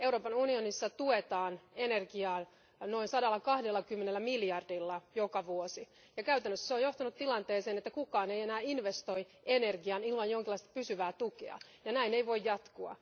Euroopan unionissa tuetaan energiaa noin sadallakahdellakymmenellä miljardilla joka vuosi, ja käytännössä se on johtanut tilanteeseen, että kukaan ei enää investoi energiaan ilman jonkinlaista pysyvää tukea, ja näin ei voi jatkua.